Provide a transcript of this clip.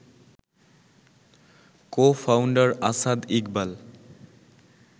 co-founder Asad Iqbal